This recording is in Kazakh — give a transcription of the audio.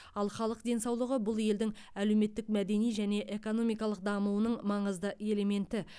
ал халық денсаулығы бұл елдің әлеуметтік мәдени және экономикалық дамуының маңызды элементі